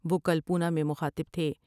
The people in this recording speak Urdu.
وہ کل پونا میں مخاطب تھے۔